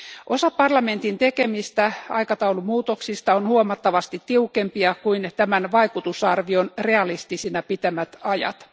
Osa parlamentin tekemistä aikataulumuutoksista on huomattavasti tiukempia kuin tämän vaikutusarvion realistisina pitämät ajat.